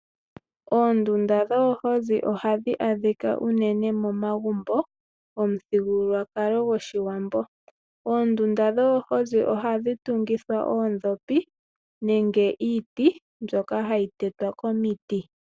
Oondunda dhoohozi ohadhi adhika unene momagumbo gomuthigululwakalo gOshiwambo . Oondunda dhoohozi ohadhi tungithwa oondhopi nenge iiti mbyoka hayi tetwa komiti.